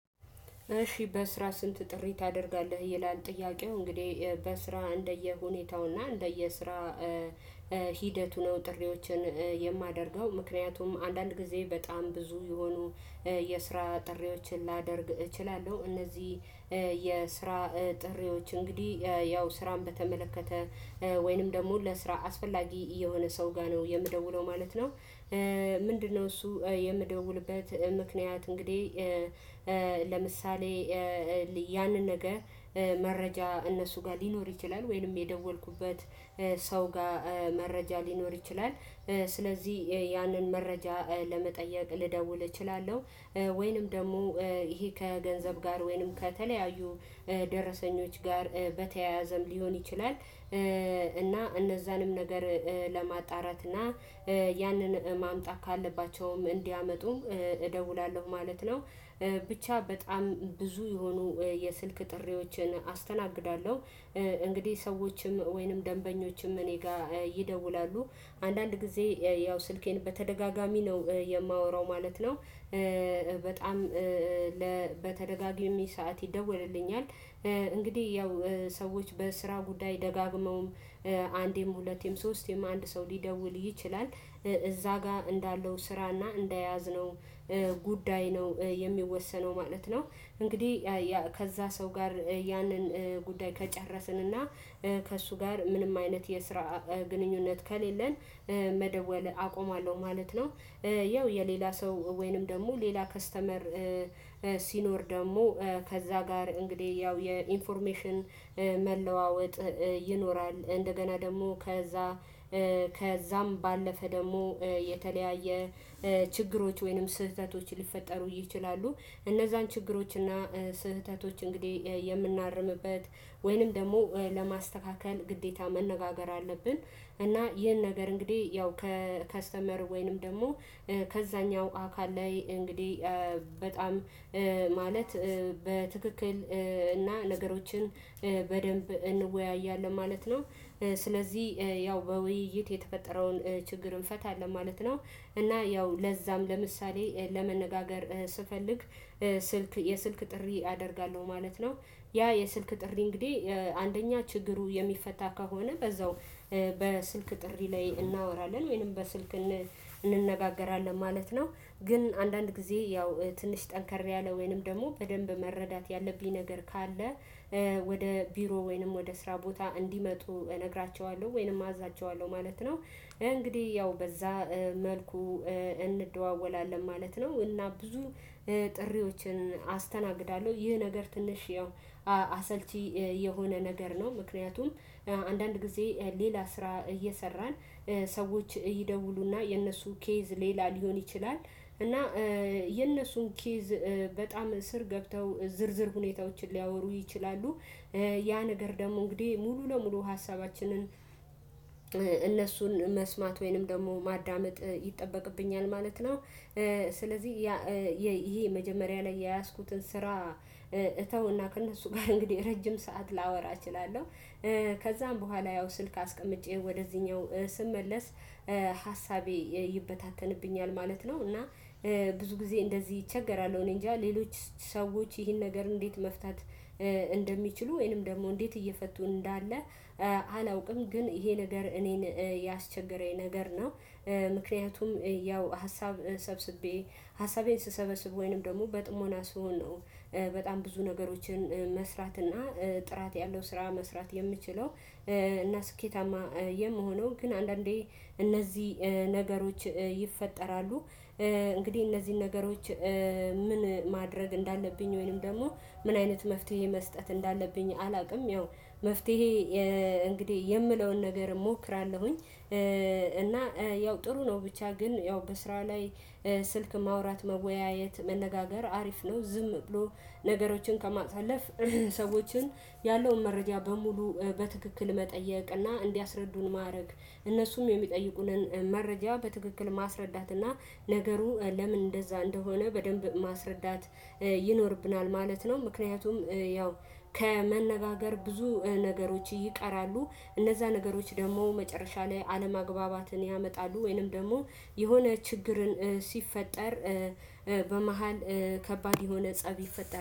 እሺ በስራ ስንት ጥሪ ታደርጋለህ ይላል? ጥያቄው እንግዲህ በስራ እንደየሁኔታውና እንደየስራ ሂደቱ ነው። ጥሪዎችን የማደርገው ምክንያቱም አንዳንድ ጊዜ በጣም ብዙ የሆኑ የስራ ጥሪዎችን ላደርግ እችላለሁ። እነዚህ የስራ ጥሪዎች እንግዲህ ያው ስራን በተመለከተ ወይንም ደግሞ ለስራ አስፈላጊ የሆነ ሰው ጋር ነው የምደውለው ማለት ነው። ምንድነው እሱ የምደውልበት ምክንያት? እንግዲህ ለምሳሌ ያንን ነገ መረጃ እነሱ ጋር ሊኖር ይችላል። ወይንም የደወልኩበት ሰው ጋር መረጃ ሊኖር ይችላል። ስለዚህ ያንን መረጃ ለመጠየቅ ልደውል እችላለሁ። ወይንም ደግሞ ይሄ ከገንዘብ ጋር ወይንም ከተለያዩ ደረሰኞች ጋር በተያያዘም ሊሆን ይችላል። እና እነዛንም ነገር ለማጣራት እና ያንን ማምጣት ካለባቸውም እንዲያመጡ እደውላለሁ ማለት ነው። ብቻ በጣም ብዙ የሆኑ የስልክ ጥሪዎችን አስተናግዳለሁ። እንግዲህ ሰዎችም ወይንም ደንበኞችም እኔ ጋር ይደውላሉ አንዳንድ ጊዜ ያው ስልኬን በተደጋጋሚ ነው የማወራው ማለት ነው። በጣም በተደጋጋሚ ሰዓት ይደወለልኛል። እንግዲህ ያው ሰዎች በስራ ጉዳይ ደጋግመውም አንዴም ሁለቴም ሶስቴም አንድ ሰው ሊደውል ይችላል እዛ ጋር እንዳለው ስራና እንደያዝነው ጉዳይ ነው የሚወሰነው ማለት ነው። እንግዲህ ከዛ ሰው ጋር ያንን ጉዳይ ከጨረስንና ከእሱ ጋር ምንም አይነት የስራ ግንኙነት ከሌለን መደወል አቆማለሁ ማለት ነው። ይኸው የሌላ ሰው ወይንም ደግሞ ሌላ ከስተመር ሲኖር ደግሞ ከዛ ጋር እንግዲህ ያው የኢንፎርሜሽን መለዋወጥ ይኖራል። እንደገና ደግሞ ከዛ ከዛም ባለፈ ደግሞ የተለያየ ችግሮች ወይንም ስህተቶች ሊፈጠሩ ይችላሉ። እነዛን ችግሮች እና ስህተቶች እንግዲህ የምናርምበት ወይንም ደግሞ ለማስተካከል ግዴታ መነጋገር አለብን። እና ይህን ነገር እንግዲህ ያው ከከስተመር ወይንም ደግሞ ከዛኛው አካል ላይ እንግዲህ በጣም ማለት በትክክል እና ነገሮችን በደንብ እንወያያለን ማለት ነው። ስለዚህ ያው በውይይት የተፈጠረውን ችግር እንፈታለን ማለት ነው። እና ያው ለዛም ለምሳሌ ለመነጋገር ስፈልግ ስልክ የስልክ ጥሪ አደርጋለሁ ማለት ነው። ያ የስልክ ጥሪ እንግዲህ አንደኛ ችግሩ የሚፈታ ከሆነ በዛው በስልክ ጥሪ ላይ እናወራለን ወይንም በስልክ እንነጋገራለን ማለት ነው። ግን አንዳንድ ጊዜ ያው ትንሽ ጠንከር ያለ ወይንም ደግሞ በደንብ መረዳት ያለብኝ ነገር ካለ ወደ ቢሮ ወይንም ወደ ስራ ቦታ እንዲመጡ እነግራቸዋለሁ ወይንም አዛቸዋለሁ ማለት ነው። እንግዲህ ያው በዛ መልኩ እንደዋወላለን ማለት ነው። እና ብዙ ጥሪዎችን አስተናግዳለሁ ይህ ነገር ትንሽ ያው አሰልቺ የሆነ ነገር ነው። ምክንያቱም አንዳንድ ጊዜ ሌላ ስራ እየሰራን ሰዎች ይደውሉና የነሱ ኬዝ ሌላ ሊሆን ይችላል እና የነሱን ኬዝ በጣም ስር ገብተው ዝርዝር ሁኔታዎችን ሊያወሩ ይችላሉ። ያ ነገር ደግሞ እንግዲህ ሙሉ ለሙሉ ሀሳባችንን እነሱን መስማት ወይንም ደግሞ ማዳመጥ ይጠበቅብኛል ማለት ነው። ስለዚህ ይሄ መጀመሪያ ላይ የያዝኩትን ስራ እተውና ከእነሱ ጋር እንግዲህ ረጅም ሰዓት ላወራ እችላለሁ። ከዛም በኋላ ያው ስልክ አስቀምጬ ወደዚህኛው ስመለስ ሀሳቤ ይበታተንብኛል ማለት ነው። እና ብዙ ጊዜ እንደዚህ እቸገራለሁ። እኔ እንጃ ሌሎች ሰዎች ይህን ነገር እንዴት? መፍታት እንደሚችሉ ወይንም ደግሞ እንዴት እየፈቱ እንዳለ አላውቅም። ግን ይሄ ነገር እኔን ያስቸገረኝ ነገር ነው። ምክንያቱም ያው ሀሳብ ሰብስቤ ሀሳቤን ስሰበስብ ወይንም ደግሞ በጥሞና ስሆን ነው። በጣም ብዙ ነገሮችን መስራትና ጥራት ያለው ስራ መስራት የምችለው። እና ስኬታማ የምሆነው ግን አንዳንዴ እነዚህ ነገሮች ይፈጠራሉ። እንግዲህ እነዚህን ነገሮች ምን ማድረግ እንዳለብኝ ወይንም ደግሞ ምን አይነት መፍትሄ መስጠት እንዳለብኝ አላውቅም። ያው መፍትሄ እንግዲህ የምለውን ነገር እሞክራለሁኝ። እና ያው ጥሩ ነው ብቻ ግን ያው በስራ ላይ ስልክ ማውራት መወያየት መነጋገር አሪፍ ነው። ዝም ብሎ ነገሮችን ከማሳለፍ ሰዎችን ያለውን መረጃ በሙሉ በትክክል መጠየቅና እንዲያስረዱን ማድረግ እነሱም የሚጠይቁንን መረጃ በትክክል ማስረዳትና ነገሩ ለምን እንደዛ እንደሆነ በደንብ ማስረዳት ይኖርብናል ማለት ነው። ምክንያቱም ያው ከመነጋገር ብዙ ነገሮች ይቀራሉ እነዛ ነገሮች ደግሞ መጨረሻ ላይ አለማግባባትን ያመጣሉ። ወይንም ደግሞ የሆነ ችግርን ሲፈጠር በመሃል ከባድ የሆነ ፀብ ይፈጠራል